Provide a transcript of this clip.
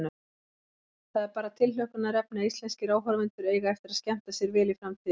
Það er bara tilhlökkunarefni að íslenskir áhorfendur eiga eftir að skemmta sér vel í framtíðinni.